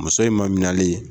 Muso in ma minɛlen